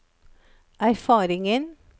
erfaringen